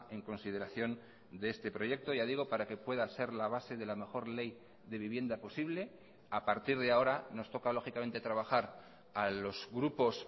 en consideración de este proyecto ya digo para que pueda ser la base de la mejor ley de vivienda posible a partir de ahora nos toca lógicamente trabajar a los grupos